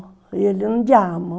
E ele, andiamo.